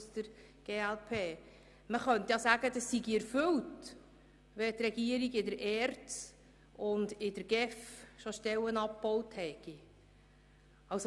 Man könne auch sagen, die Forderung sei schon erfüllt, weil die Regierung in der ERZ und in der GEF schon Stellen abgebaut habe.